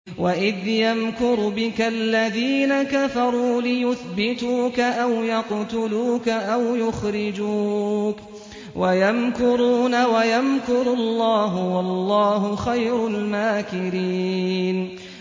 وَإِذْ يَمْكُرُ بِكَ الَّذِينَ كَفَرُوا لِيُثْبِتُوكَ أَوْ يَقْتُلُوكَ أَوْ يُخْرِجُوكَ ۚ وَيَمْكُرُونَ وَيَمْكُرُ اللَّهُ ۖ وَاللَّهُ خَيْرُ الْمَاكِرِينَ